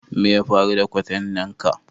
Me ya faru da kwantenan ka?